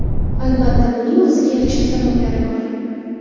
Albatta, buning o‘ziga yarasha sabablari bor.